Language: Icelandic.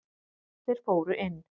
Þeir fóru inn.